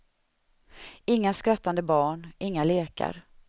Inga skrattande barn, inga lekar.